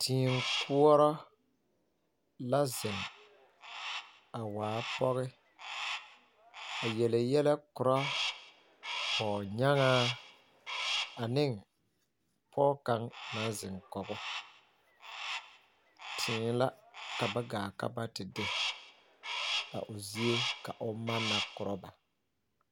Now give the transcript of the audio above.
Tee koɔrɔ la zeŋ a waa pɔge a yele yɛlɛ koɔrɔ pɔgenyaaŋa ane pɔge kaŋa na zeŋ kɔɔ o, tee la ka ba gaa ba te de a o zie ka o manna na koɔrɔ ba